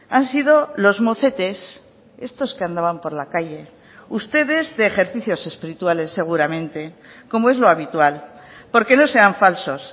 han sido los mocetes estos que andaban por la calle ustedes de ejercicios espirituales seguramente como es lo habitual porque no sean falsos